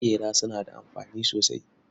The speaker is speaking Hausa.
Maƙera suna da amfani sosai.